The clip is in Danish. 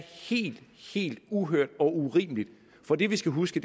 helt helt uhørt og urimeligt for det vi skal huske